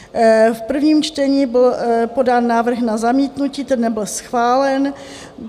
V prvním čtení byl podán návrh na zamítnutí, ten nebyl schválen.